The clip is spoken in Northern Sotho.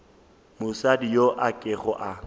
mosadi yo a kego a